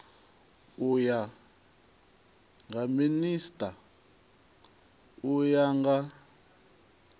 nga minisita u ya nga